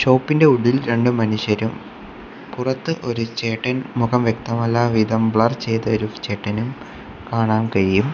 ടോപ്പിൻ്റെ ഉള്ളിൽ രണ്ട് മനുഷ്യരും പുറത്ത് ഒരു ചേട്ടൻ മുഖം വ്യക്തമല്ലാവിധം ബ്ലർ ചെയ്ത ഒരു ചേട്ടനും കാണാൻ കഴിയും.